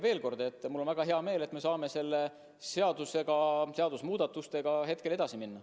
Veel kord, et mul on väga hea meel, et me saame nende seadusemuudatustega edasi minna.